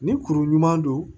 Ni kuru ɲuman don